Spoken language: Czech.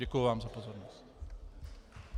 Děkuji vám za pozornost.